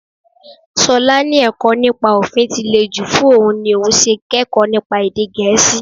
Ṣọlá ní ẹ̀kọ́ nípa òfin tí le jù fún òun ní òun ṣe kẹ́kọ̀ọ́ nípa èdè Gẹ̀ẹ́sì